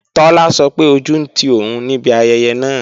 Tọ́lá sọ pé ojú ń ti òun níbi ayẹyẹ náà